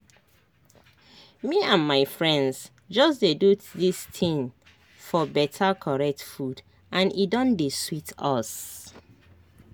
me and my friends just dey do this tin for beta correct food and e don dey sweet us